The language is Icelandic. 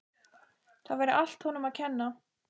Það væri allt honum að kenna.